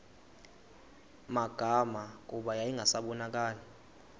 magama kuba yayingasabonakali